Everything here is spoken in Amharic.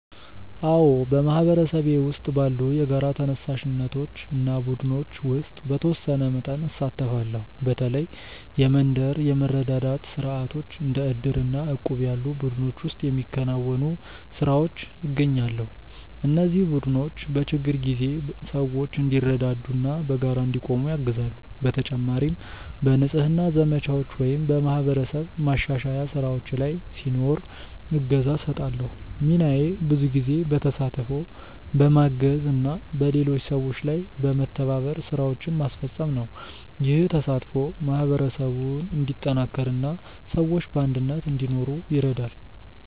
አዎ፣ በማህበረሰቤ ውስጥ ባሉ የጋራ ተነሳሽነቶች እና ቡድኖች ውስጥ በተወሰነ መጠን እሳተፋለሁ። በተለይ የመንደር የመረዳዳት ስርዓቶች እንደ ዕድር እና እቁብ ያሉ ቡድኖች ውስጥ በሚከናወኑ ስራዎች እገኛለሁ። እነዚህ ቡድኖች በችግር ጊዜ ሰዎች እንዲረዳዱ እና በጋራ እንዲቆሙ ያግዛሉ። በተጨማሪም በንጽህና ዘመቻዎች ወይም በማህበረሰብ ማሻሻያ ስራዎች ላይ ሲኖር እገዛ እሰጣለሁ። ሚናዬ ብዙ ጊዜ በተሳትፎ፣ በማገዝ እና በሌሎች ሰዎች ጋር በመተባበር ስራዎችን ማስፈጸም ነው። ይህ ተሳትፎ ማህበረሰቡን እንዲጠናከር እና ሰዎች በአንድነት እንዲኖሩ ይረዳል።